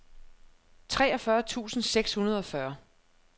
treogfyrre tusind seks hundrede og fyrre